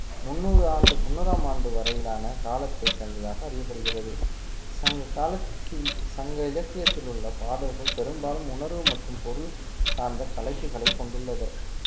முந்நூறு ஆண்டு முன்னூறாம் ஆண்டு வரையிலான காலத்தை சேர்ந்ததாக அறியப்படுகிறது சங்க காலத்தில் சங்க இலக்கியத்தில் உள்ள பாடல்கள் பெரும்பாலும் உணர்வு மற்றும் பொருள் சார்ந்த தலைப்புகளை கொண்டுள்ளது